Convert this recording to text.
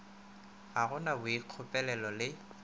ga go na boikgopolelo le